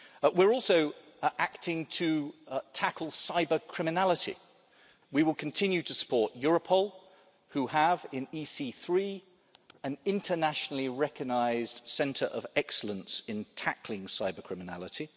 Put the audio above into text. We're also acting to tackle cyber criminality. We will continue to support Europol, who have in EC3 an internationally recognised centre of excellence in tackling cyber criminality.